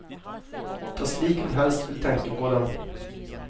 Det er slik hun helst vil tenke på dem.